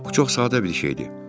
Bu çox sadə bir şeydir.